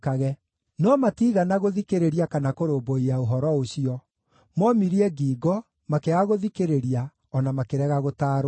No matiigana gũthikĩrĩria kana kũrũmbũiya ũhoro ũcio: moomirie ngingo, makĩaga gũthikĩrĩria, o na makĩrega gũtaarwo.